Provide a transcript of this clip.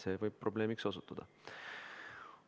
See võib probleemiks osutuda.